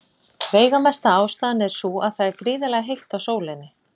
Veigamesta ástæðan er sú að það er gríðarlega heitt á sólinni.